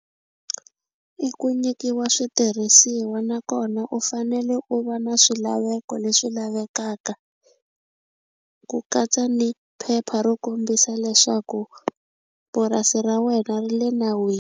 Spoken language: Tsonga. I ku nyikiwa switirhisiwa nakona u fanele u va na swilaveko leswi lavekaka ku katsa ni phepha ro kombisa leswaku purasi ra wena ri le .